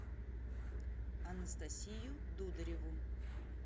анастасию дудареву